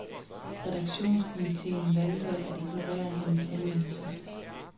Redaktionskomiteen valgte at ignorere hendes henvendelse.